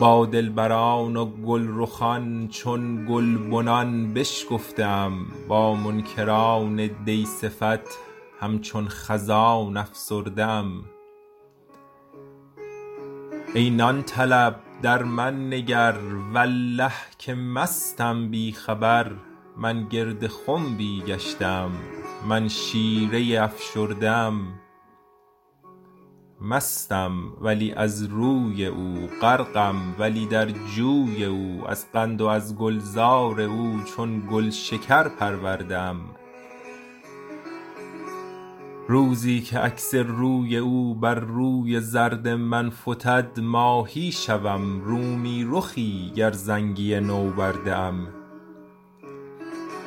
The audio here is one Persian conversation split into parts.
با دلبران و گلرخان چون گلبنان بشکفته ام با منکران دی صفت همچون خزان افسرده ام ای نان طلب در من نگر والله که مستم بی خبر من گرد خنبی گشته ام من شیره ای افشرده ام مستم ولی از روی او غرقم ولی در جوی او از قند و از گلزار او چون گلشکر پرورده ام روزی که عکس روی او بر روی زرد من فتد ماهی شوم رومی رخی گر زنگی نوبرده ام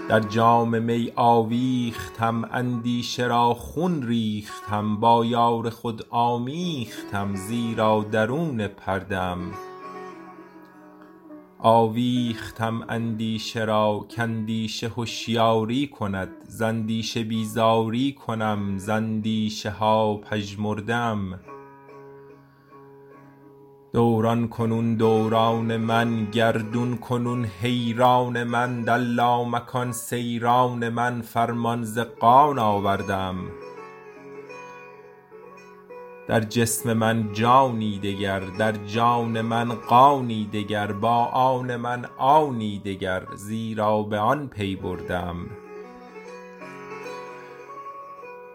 در جام می آویختم اندیشه را خون ریختم با یار خود آمیختم زیرا درون پرده ام آویختم اندیشه را کاندیشه هشیاری کند ز اندیشه بیزاری کنم ز اندیشه ها پژمرده ام دوران کنون دوران من گردون کنون حیران من در لامکان سیران من فرمان ز قان آورده ام در جسم من جانی دگر در جان من قانی دگر با آن من آنی دگر زیرا به آن پی برده ام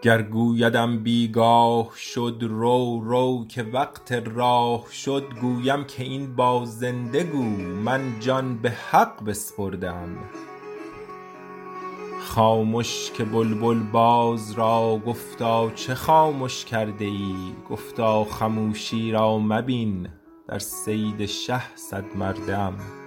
گر گویدم بی گاه شد رو رو که وقت راه شد گویم که این با زنده گو من جان به حق بسپرده ام خامش که بلبل باز را گفتا چه خامش کرده ای گفتا خموشی را مبین در صید شه صدمرده ام